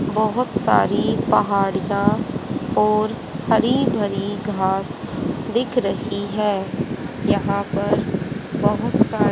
बहोत सारी पहाड़ियाँ और हरी भरी घास दिख रही है यहां पर बहोत सारी--